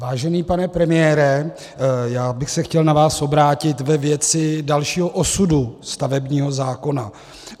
Vážený pane premiére, já bych se chtěl na vás obrátit ve věci dalšího osudu stavebního zákona.